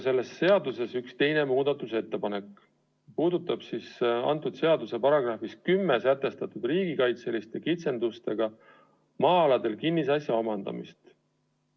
Selles seaduseelnõus on ka üks teine muudatusettepanek, mis puudutab selle seaduse §-s 10 sätestatud riigikaitseliste kitsendustega maa-aladel kinnisasja omandamist.